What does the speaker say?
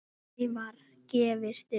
Aldrei var gefist upp.